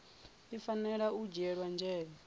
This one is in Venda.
i fanela u dzhiela nzhele